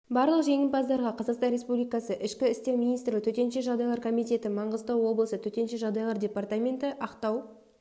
барлық жеңімпаздарға қазақстан республикасы ішкі істер министрлігі төтенше жағдайлар комитеті маңғыстау облысы төтенше жағдайлар департаменті ақтау